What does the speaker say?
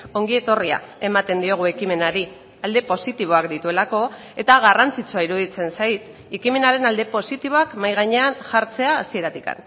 ongietorria ematen diogu ekimenari alde positiboak dituelako eta garrantzitsua iruditzen zait ekimenaren alde positiboak mahai gainean jartzea hasieratik